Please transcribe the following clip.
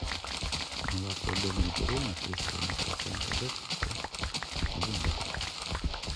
молоко домик в деревне три с половиной процента жирности один литр